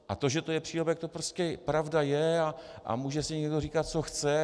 A to, že to je přílepek, to prostě pravda je a může si někdo říkat, co chce.